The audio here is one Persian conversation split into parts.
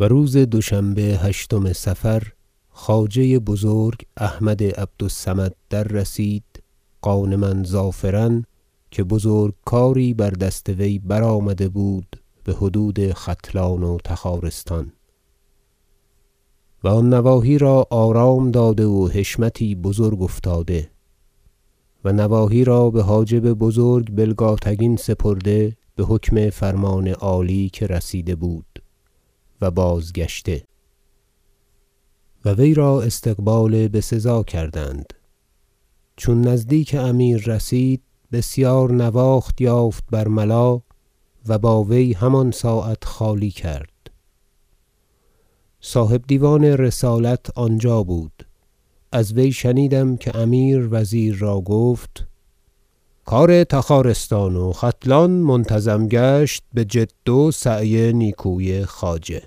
و روز دوشنبه هشتم صفر خواجه بزرگ احمد عبد الصمد در رسید غانما ظافرا که بزرگ کاری بر دست وی برآمده بود بحدود ختلان و تخارستان و آن نواحی را آرام داده و حشمتی بزرگ افتاده و نواحی را بحاجب بزرگ بلگاتگین سپرده بحکم فرمان عالی که رسیده بود و بازگشته و وی را استقبال بسزا کردند چون نزدیک امیر رسید بسیار نواخت یافت برملا و با وی همان ساعت خالی کرد صاحب دیوان رسالت آنجا بود از وی شنیدم که امیر وزیر را گفت کار تخارستان و ختلان منتظم گشت بجد و سعی نیکوی خواجه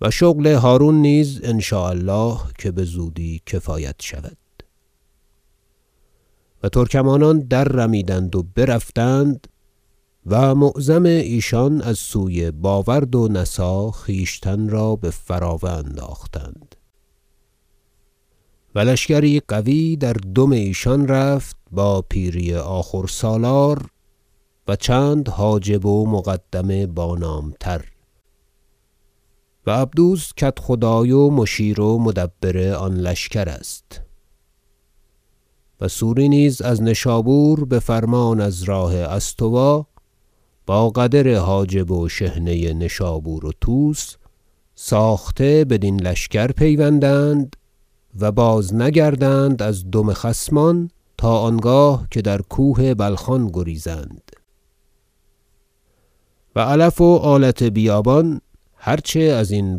و شغل هرون نیز ان شاء الله که بزودی کفایت شود و ترکمانان در رمیدند و برفتند و معظم ایشان از سوی باورد و نسا خویشتن را به فراوه انداختند و لشکری قوی در دم ایشان رفت با پیری آخور سالار و چند حاجب و مقدم با نام تر و عبدوس کدخدای و مشیر و مدبر آن لشکر است و سوری نیز از نشابور بفرمان از راه استوا با قدر حاجب و شحنه نشابور و طوس ساخته بدین لشکر پیوندند و بازنگردند از دم خصمان تا آنگاه که در کوه بلخان گریزند و علف و آلت بیابان هر چه ازین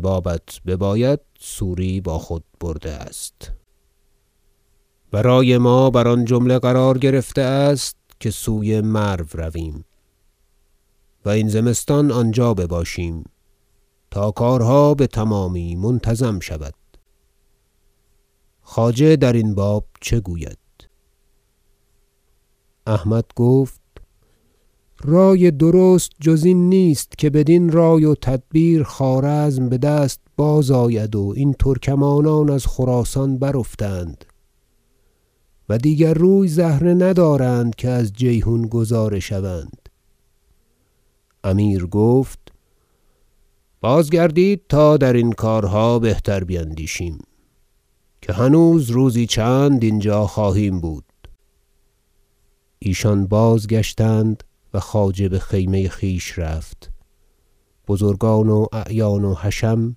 بابت بباید سوری با خود ببرده است و رای ما بر آن جمله قرار گرفته است که سوی مرو رویم و این زمستان آنجا باشیم تا کارها بتمامی منتظم شود خواجه درین باب چه گوید احمد گفت رای درست جز این نیست که بدین رای و تدبیر خوارزم بدست بازآید و این ترکمانان از خراسان برافتند و دیگر روی زهره ندارند که از جیحون گذاره شوند امیر گفت بازگردید تا درین کارها بهتر بیندیشیم که هنوز روزی چند اینجا خواهیم بود ایشان بازگشتند و خواجه بخیمه خویش رفت بزرگان و اعیان و حشم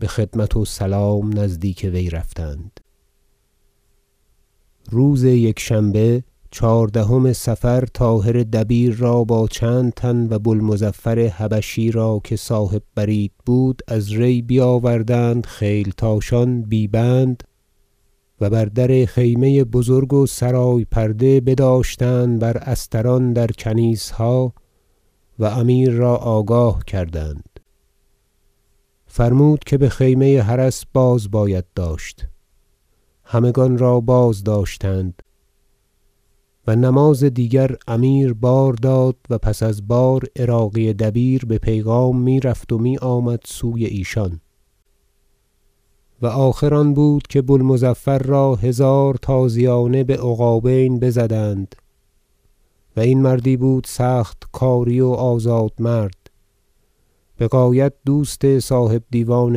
بخدمت و سلام نزدیک وی رفتند روز یکشنبه چهاردهم صفر طاهر دبیر را با چند تن و بو المظفر حبشی را که صاحب برید بود از ری بیاوردند خیلتاشان بی بند و بر در خیمه بزرگ و سرای پرده بداشتند بر استران در کنیسها و امیر را آگاه کردند فرمود که بخیمه حرس باز باید داشت همگان را بازداشتند و نماز دیگر امیر بار داد و پس از بار عراقی دبیر به پیغام میرفت و میآمد سوی ایشان و آخر آن بود که بوالمظفر را هزار تازیانه بعقابین بزدند- و این مردی بود سخت کاری و آزاد مرد بغایت دوست صاحب دیوان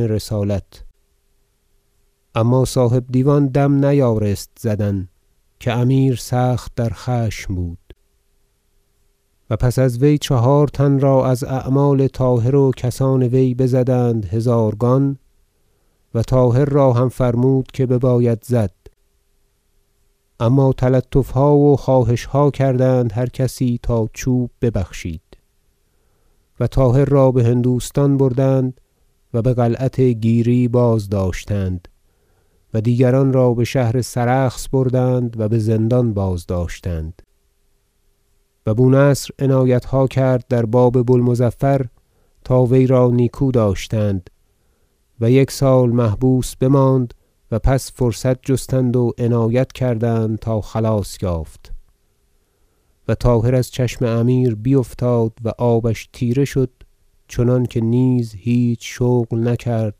رسالت اما صاحب دیوان دم نیارست زدن که امیر سخت در خشم بود- و پس از وی چهارتن را از اعمال طاهر و کسان وی بزدند هزارگان و طاهر را هم فرمود که بباید زد اما تلطفها و خواهشها کردند هر کسی تا چوب ببخشید و طاهر را بهندوستان بردند و بقلعت گیری بازداشتند و دیگران را بشهر سرخس بردند و بزندان بازداشتند و بونصر عنایتها کرد در باب بو المظفر تا وی را نیکو داشتند و یک سال محبوس بماند و پس فرصت جستند و عنایت کردند تا خلاص یافت و طاهر از چشم امیر بیفتاد و آبش تیره شد چنانکه نیز هیچ شغل نکرد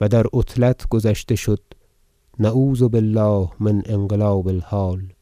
و در عطلت گذشته شد نعوذ بالله من انقلاب الحال